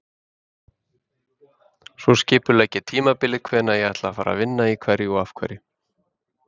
Svo skipulegg ég tímabilið, hvenær ætla ég að vinna í hverju og af hverju?